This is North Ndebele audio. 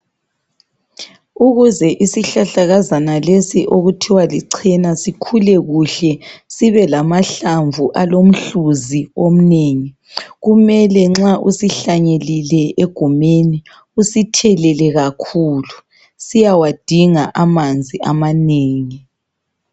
Ukuze isihlahlakazana lesi okuthiwa lichena sikhule kuhle sibelamahlamvu alomhluzi omnengi. Kumele nxa usihlanyelile egumeni usithelele kakhulu siyawadinga amanzi amanengi